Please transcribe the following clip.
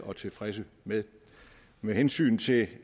og tilfredse med med hensyn til